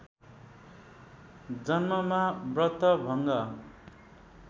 जन्ममा व्रत भङ्ग